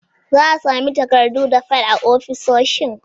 Za'a sami takardu da fil a ofisoshi